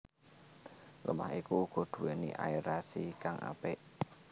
Lemah iku uga nduwéni aerasi kang apik